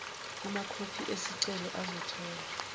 kumakhophi esicelo azotholwa